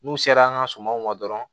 N'u sera an ka sumanw ma dɔrɔn